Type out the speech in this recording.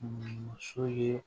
Muso ye